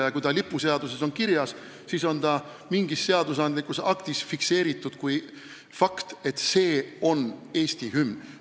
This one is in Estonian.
Ja kui see on lipuseaduses kirjas, siis on see seadusandlikus aktis fikseeritud kui fakt, et see on Eesti hümn.